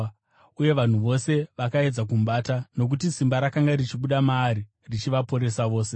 uye vanhu vose vakaedza kumubata, nokuti simba rakanga richibuda maari richivaporesa vose.